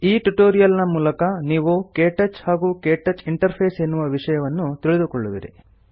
ಈ ಟ್ಯುಟೋರಿಯಲ್ ಮೂಲಕ ನೀವು ಕೆಟಚ್ ಹಾಗೂ ಕೆಟಚ್ ಇಂಟರ್ಫೇಸ್ ಎನ್ನುವ ವಿಷಯಗಳನ್ನು ತಿಳಿದುಕೊಳ್ಳುವಿರಿ